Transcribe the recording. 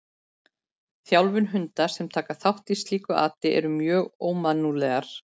Þjálfun hunda sem taka þátt í slíku ati eru mjög ómannúðlegar.